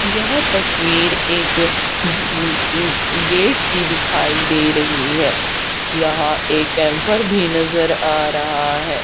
यह तस्वीर एक गेट की दिखाई दे रही है। यहां एक कैंपर एम्पर भी नजर आ रहा है।